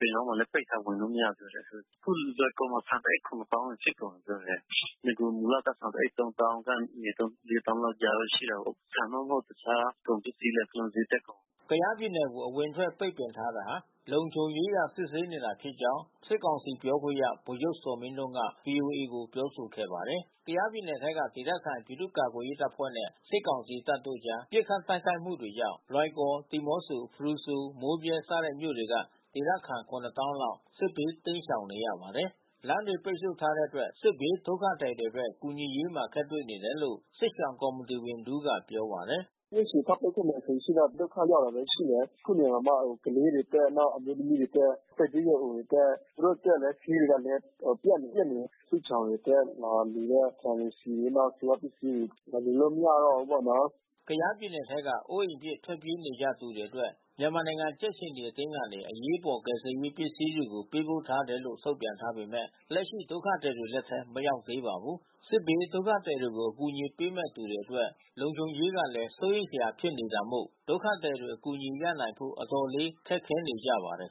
ပင်လောင်းဘက်မှာလည်း ပိတ်ထားတယ်... ဝင်လို့ မရဘူး။ အခုလွိုင်ကော်မှာ ဆန်တအိတ် ၇၀,၀၀၀ ဖြစ်ကုန်ပြီးလို့ ပြောတယ်။ နဂိုလ်မူလဆန်တအိတ် ၃၀,၀၀၀ ကနေ ၄၀,၀၀၀ ကြားတော့ရှိတာပေါ့။ ဆန်မှ မဟုတ်ဘူး တခြားကုန်ပစ္စည်းတွေလည်း ဈေးတက်ကုန်ပြီ။" ကယားပြည်နယ်ကို အဝင်အထွက်ပိတ်ပင်ထားတာဟာ လုံခြုံရေးအရ စစ်ဆေးနေတာဖြစ်ကြောင်း စစ်ကောင်စီ ပြောခွင့်ရ ဗိုလ်ချုပ် ဇော်မင်းထွန်းက ဗွီအိုအေကို ပြောဆိုခဲ့ပါတယ်။ ကယားပြည်နယ်ထဲက ဒေသခံပြည်သူ့ကာကွယ်ရေးအဖွဲ့နဲ့ စစ်ကောင်စီတပ်တို့အကြား ပစ်ခတ်တိုက်ခိုက်မှုတွေကြောင့် လွိုင်ကော်၊ ဒီးမော့ဆို၊ ဖရူဆို၊ မိုးမြဲ စတဲ့မြို့တွေက ဒေသခံ ၇၀,၀၀၀ လောက် စစ်ဘေးတိမ်းရှောင်နေရပါတယ်။ လမ်းတွေ ပိတ်ဆို့ထားတဲ့အတွက် စစ်ဘေးဒုက္ခသည်တွေအတွက် ကူညီရေးမှာအခက်တွေ့နေတယ်လို့ စစ်ရှောင်ကော်မီတီဝင်တဦးက ပြောပါတယ်။ "နေ့ရှည်ထပ်ပိတ်မယ်ဆိုရင်တော့ ဒုက္ခရောက်တာပဲ ရှိမယ်။ အခုနေတောင်မှ ကလေးတွေအတွက်၊ အမျိုးသမီးတွေအတွက်၊ သက်ကြီးရွယ်အိုတွေအတွက် သူတို့အတွက်ဆေးတွေကလည်း ပြတ်နေတယ်။ စစ်ရှောင်တွေအတွက်လာလှူတဲ့ ဆန်တွေ၊ ဆီတွေ၊ နောက်ဆေးဝါးပစ္စည်းတွေ လာလှူလို့ မရတော့ဘူးပေါ့။" ကယားပြည်နယ်ထဲက အိုးအိမ်ပစ် ထွက်ပြေးနေကြရသူတွေအတွက် မြန်မာနိုင်ငံကြက်ခြေနီအသင်းကနေ အရေးပေါ် ကယ်ဆယ်ရေးပစ္စည်းတွေ ပေးပို့တယ်လို့ ထုတ်ပြန်ထားပေမဲ့ လက်ရှိဒုက္ခသည်တွေ လက်ထဲမရောက်သေးပါဘူး။ စစ်ဘေးဒုက္ခသည်တွေကို အကူအညီပေးမယ့်သူတွေအတွက် လုံခြုံရေးကလည်း စိုးရိမ်စရာဖြစ်နေတာမို့ ဒုက္ခသည်တွေ အကူအညီရနိုင်ဖို့ အတော်လေး ခက်ခဲနေကြပါတယ်